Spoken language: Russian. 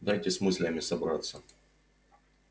дайте с мыслями собраться